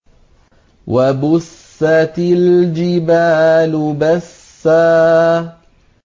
وَبُسَّتِ الْجِبَالُ بَسًّا